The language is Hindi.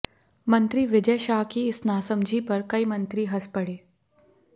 मंत्री विजय शाह की इस नासमझी पर कई मंत्री हंस पड़े